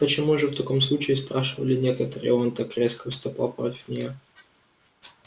почему же в таком случае спрашивали некоторые он так резко выступал против нее